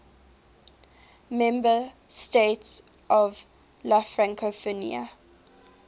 member states of la francophonie